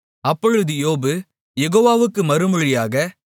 அப்பொழுது யோபு யெகோவாவுக்கு மறுமொழியாக